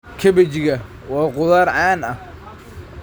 Kabejiga waa khudrad caan ah.